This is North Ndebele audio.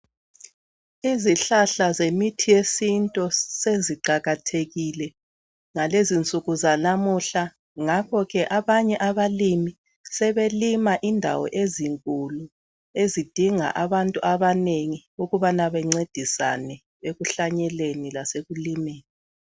Izihlahla zemithi yesintu seziqakathekile ngalezinsuku zalamuhla ngakho ke abanye abalimi sebelima indawo ezinkulu ezidinga abantu abanengi ukubana bencedisane ekuhlanyeleni lasekulimeni.